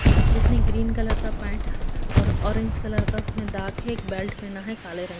जिसने green colour का paint और ऑरेंज कलर का दाग है एक बेल्ट पहना है काले रंग --